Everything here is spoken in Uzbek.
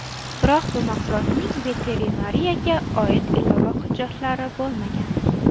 Biroq bu mahsulotning veterinariyaga oid ilova hujjatlari bo‘lmagan.